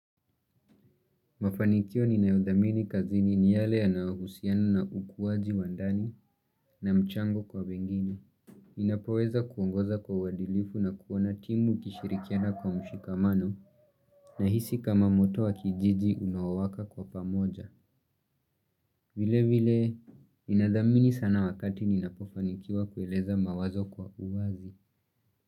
Mafanikio ninayothamini kazini ni yale yanayohusiana na ukuwaji wandani na mchango kwa wengine. Ninapoweza kuongoza kwa wadilifu na kuona timu ikishirikiana kwa mshikamano na hisi kama moto wa kijiji unawaka kwa pamoja. Vile vile, ninathamini sana wakati ninapofanikiwa kueleza mawazo kwa uwazi.